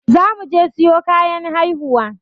Zamu je siyo kayan haihuwa.